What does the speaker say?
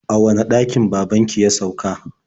A wane ɗakin baban ki ya sauka?